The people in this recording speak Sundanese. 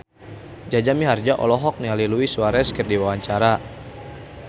Jaja Mihardja olohok ningali Luis Suarez keur diwawancara